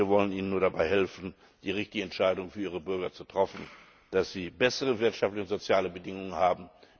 Wir wollen ihnen nur dabei helfen, die richtige Entscheidung für ihre Bürger zu treffen, dass sie bessere wirtschaftliche und soziale Bedingungen haben.